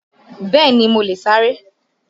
Bẹ́ẹ̀ni, mo lè sáré